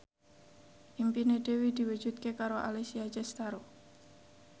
impine Dewi diwujudke karo Alessia Cestaro